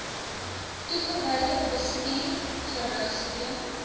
toegewyde bestuur gerugsteun